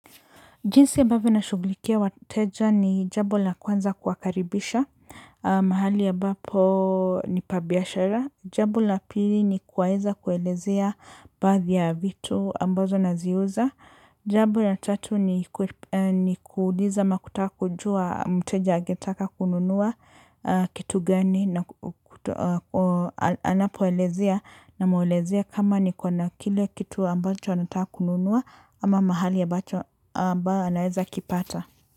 Jinsi ambavyo ninashughulikia wateja ni jambo la kwanza kuwakaribisha. Mahali ambapo ni pa biashara. Jambo la pili ni kuwaeza kuelezea baadhi ya vitu ambazo naziuza. Jambo la tatu ni kuuliza ama kutaka kujua mteja angetaka kununua kitu gani. Na anapoelezea na mwelezea kama ni kwa na kile kitu ambacho anataka kununua ama mahali ambacho ambao anaweza kipata.